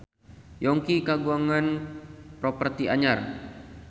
Yongki kagungan properti anyar